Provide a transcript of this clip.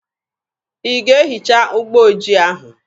Ị ga-ehicha ụgbọ ojii ahụ!